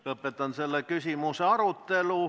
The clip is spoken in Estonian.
Lõpetan selle küsimuse arutelu.